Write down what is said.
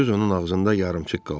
söz onun ağzında yarımçıq qaldı.